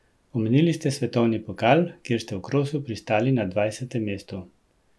Omenili ste svetovni pokal, kjer ste v krosu pristali na dvajsetem mestu.